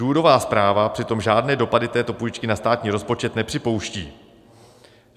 Důvodová zpráva přitom žádné dopady této půjčky na státní rozpočet nepřipouští.